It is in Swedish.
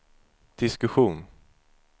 diskussion